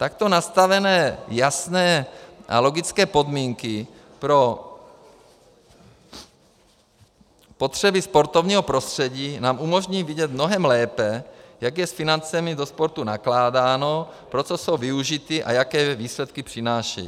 Takto nastavené jasné a logické podmínky pro potřeby sportovního prostředí nám umožní vidět mnohem lépe, jak je s financemi do sportu nakládáno, pro co jsou využity a jaké výsledky přinášejí.